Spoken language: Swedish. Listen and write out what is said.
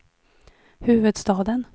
huvudstaden